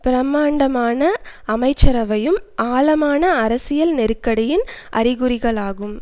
பிரமாண்டமான அமைச்சரவையும் ஆழமான அரசியல் நெருக்கடியின் அறிகுறிகளாகும்